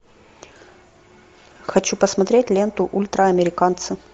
хочу посмотреть ленту ультраамериканцы